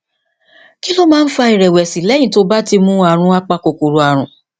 kí ló máa ń fa ìrèwèsì léyìn tó o bá ti mu oògùn apakòkòrò àrùn